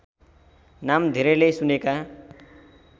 नाम धेरैले सुनेका